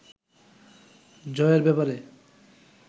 জয়ের ব্যাপারে